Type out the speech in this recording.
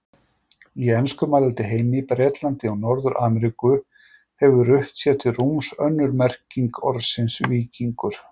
Í enskumælandi heimi, Bretlandi og Norður-Ameríku, hefur rutt sér til rúms önnur merking orðsins víkingur.